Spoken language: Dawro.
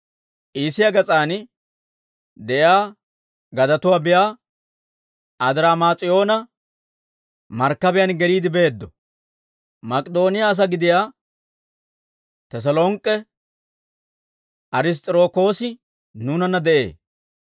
Iisiyaa gas'aan de'iyaa gadatuwaa biyaa Adiraamis'iyoona markkabiyaan geliide beeddo; Mak'idooniyaa asaa gidiyaa Teselonk'k'e Ariss's'irokoosi nuunanna de'ee.